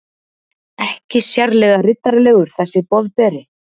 Ekki sérlega riddaralegur, þessi Boðberi.